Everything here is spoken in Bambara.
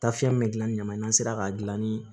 Taafiyɛn min bɛ gilan ni ɲama ye n'an sera k'a dilan ni